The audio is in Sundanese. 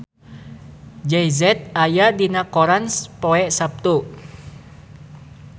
Jay Z aya dina koran poe Saptu